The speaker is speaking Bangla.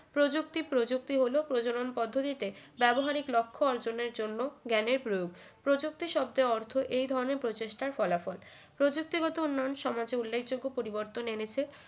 প্রযুক্তি প্রযুক্তি হল প্রজনন পদ্ধতিতে ব্যবহারিক লক্ষ্য অর্জনের জন্য জ্ঞানের প্রয়োগ প্রযুক্তি শব্দের অর্থ এই ধরনের প্রচেষ্টার ফলাফল প্রযুক্তিগত উন্নয়ন সমাজে উল্লেখযোগ্য পরিবর্তন এনেছে